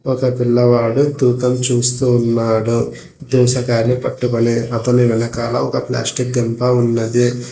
ఒక పిల్లవాడు తూకం చూస్తూ ఉన్నాడు దోసకాయలు పట్టుకొని అతని వెనకాల ఒక ప్లాస్టిక్ గంప ఉన్నది.